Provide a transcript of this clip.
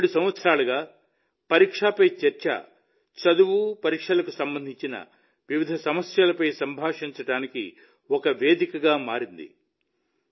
గత 7 సంవత్సరాలుగా పరీక్ష పే చర్చా చదువు పరీక్షలకు సంబంధించిన వివిధ సమస్యలపై సంభాషించడానికి ఒక వేదికగా మారింది